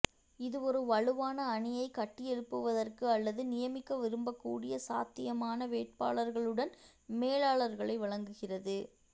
இது ஒரு வலுவான அணியைக் கட்டியெழுப்புவதற்கு அல்லது நியமிக்க விரும்பக்கூடிய சாத்தியமான வேட்பாளர்களுடன் மேலாளர்களை வழங்குகிறது